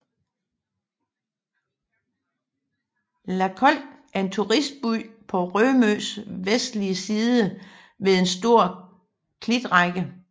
Lakolk er en turistby på Rømøs vestlige side ved en stor klitrække